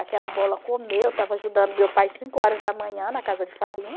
Aquela bola comeu, eu estava ajudando meu pai cinco horas da manhã na casa de farinha.